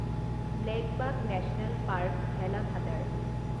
blackbuck national park, Velavadar